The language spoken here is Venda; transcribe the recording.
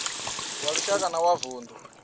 wa lushaka na wa vundu